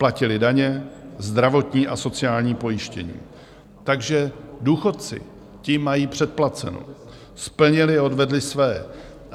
Platili daně, zdravotní a sociální pojištění, takže důchodci, ti mají předplaceno, splnili a odvedli své.